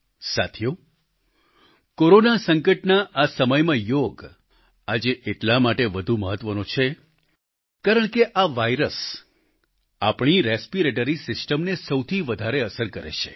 સાથીઓ કોરોના સંકટના આ સમયમાં યોગ આજે એટલા માટે વધુ મહત્વનો છે કારણ કે આ વાયરસ આપણી રેસ્પિરેટરી સિસ્ટમને સૌથી વધારે અસર કરે છે